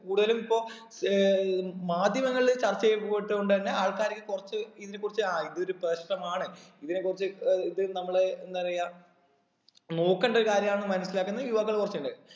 കൂടുതലും ഇപ്പൊ ഏർ മാധ്യമങ്ങളിൽ ചർച്ച ചെയ്യപ്പെട്ടൊണ്ട് തന്നെ ആൾക്കാർക്ക് കുറച്ച് ഇതിനെ കുറിച്ച് ആ ഇതൊരു പ്രശ്നമാണ് ഇതിനെ കുറിച്ച് ഏർ ഇത് നമ്മള് എന്താ പറയാം നോക്കേണ്ട ഒരു കാര്യമാന്ന് മനസ്സിലാക്കുന്ന യുവാക്കൾ കുറച്ചിണ്ട്